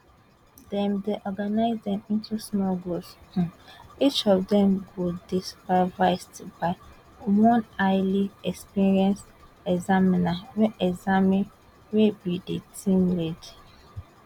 dem dey organise dem into small groups um each of dem go dey supervised by one highly experienced examiner wey examiner wey be di team leader um